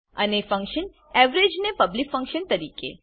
અને function average ને public function તરીકે